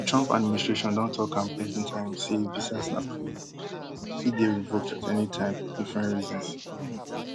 di trump administration don tok am plenti time say visas na privilege and fit dey revoked at any time for different reasons um